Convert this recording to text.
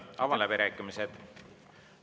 Avan läbirääkimised.